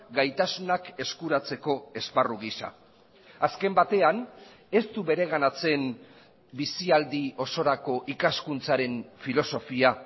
gaitasunak eskuratzeko esparru gisa azken batean ez du bereganatzen bizialdi osorako ikaskuntzaren filosofia